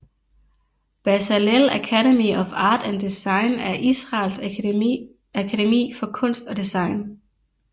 Bezalel Academy of Art and Design er Israels akademi for kunst og design